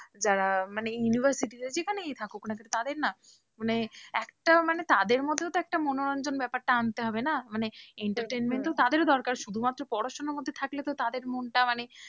যারা মানে university তে যেখানেই থাকুক না কেন তাদের না মানে একটা মানে তাদের মধ্যেও তো একটা মনোরঞ্জন ব্যাপারটা আনতে হবে না, মানে entertainment তো তাদেরও দরকার, শুধুমাত্র পড়াশোনার মধ্যে থাকলে তো তাদের মনটা মানে,